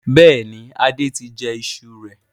Bẹ́ẹ̀ni, Adé tí jẹ ìṣù rẹ̀.